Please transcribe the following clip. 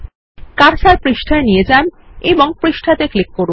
cursor পৃষ্ঠায় নিয়ে যান এবং পৃষ্ঠাতে ক্লিক করুন